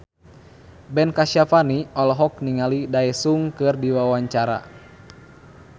Ben Kasyafani olohok ningali Daesung keur diwawancara